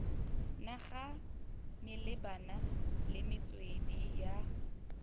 naga malebana le metswedi ya